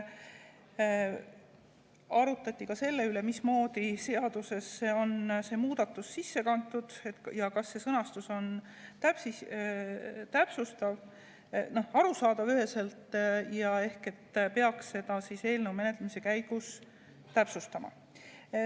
Arutati ka selle üle, mismoodi on seadusesse see muudatus sisse kantud ja kas see sõnastus on üheselt arusaadav, et ehk peaks seda eelnõu menetlemise käigus täpsustama.